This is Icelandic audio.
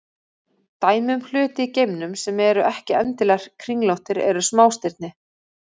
Dæmi um hluti í geimnum sem eru ekki endilega kringlóttir eru smástirni.